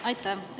Aitäh!